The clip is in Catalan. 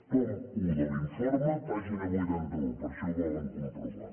tom i de l’informe pàgina vuitanta un per si ho volen comprovar